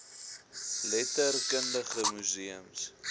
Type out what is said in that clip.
letter kundige museums